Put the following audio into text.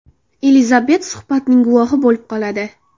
Elizabet suhbatning guvohi bo‘lib qoladi.